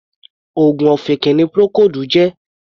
Oògùn ọ̀fìnkì ni Procold jẹ́.